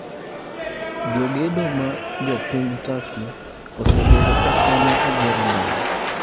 Jogedo ma Jo piny Turkey osebedo ka konyo e gero ndara.